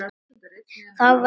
Þá verður